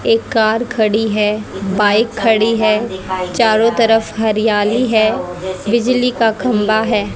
एक कार खड़ी है बाइक खड़ी है चारों तरफ हरियाली है बिजली का खंबा है।